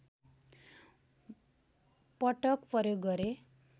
पटक प्रयोग गरे